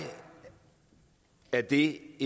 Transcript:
er det